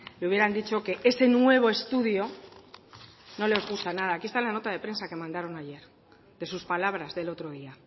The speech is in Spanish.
le hubieran dicho que ese nuevo estudio no les gusta nada aquí esta una nota de prensa que mandaron ayer de sus palabras del otro día